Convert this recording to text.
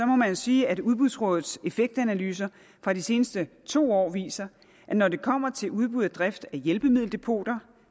må man sige at udbudsrådets effektanalyser fra de seneste to år viser at når det kommer til udbud og drift af hjælpemiddeldepoter